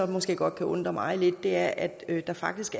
måske godt kan undre mig lidt er at der faktisk